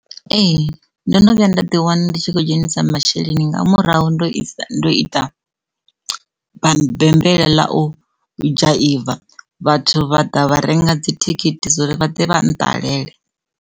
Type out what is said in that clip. Ee, ndo no vhuya nda ḓi wana ndi tshi khou dzhenisa masheleni nga murahu ndo ita ndo ita bammbela ḽa u dzhaiva vhathu vha ḓa vha renga dzithikhithi so uri vha ḓe vha nṱalele.